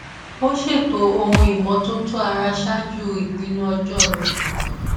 ó ṣètò ohun ìmótótó ara ṣáájú ìpinnu ọjó rẹ